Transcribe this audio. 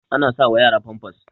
ana sawa yara famfas